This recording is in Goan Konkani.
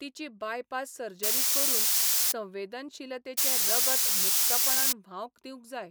तिची बायपास सर्जरी करून संवेदनशीलतेचें रगत मुक्तपणान व्हावंक दिवंक जाय.